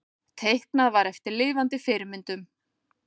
Teiknað var eftir lifandi fyrirmyndum.